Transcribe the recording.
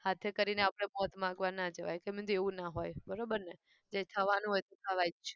હાથે કરીને આપણે મોત માગવા ન જવાય તો મેં કીધું એવું ના હોય. બરાબર ને?